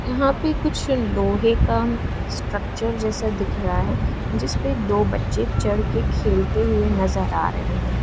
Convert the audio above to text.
यहां पे कुछ लोहे का स्ट्रक्चर जैसा दिख रहा है जिस पे दो बच्चे चढ़ के खेलते हुए नजर आ रहे हैं।